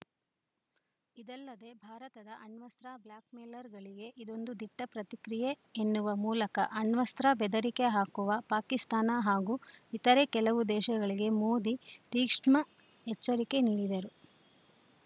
ಇದಲ್ಲದೆ ಭಾರತದ ಅಣ್ವಸ್ತ್ರ ಬ್ಲ್ಯಾಕ್‌ಮೇಲರ್‌ಗಳಿಗೆ ಇದೊಂದು ದಿಟ್ಟಪ್ರತಿಕ್ರಿಯೆ ಎನ್ನುವ ಮೂಲಕ ಅಣ್ವಸ್ತ್ರ ಬೆದರಿಕೆ ಹಾಕುವ ಪಾಕಿಸ್ತಾನ ಹಾಗೂ ಇತರ ಕೆಲವು ದೇಶಗಳಿಗೆ ಮೋದಿ ತೀಕ್ಷ್ಣ ಎಚ್ಚರಿಕೆ ನೀಡಿದರು